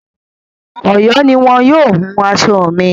Ọ̀yọ́ ni wọn yóò wun aṣọ mi.